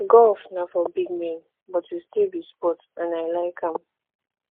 golf na for big men but e still be sport and i like am